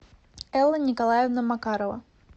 элла николаевна макарова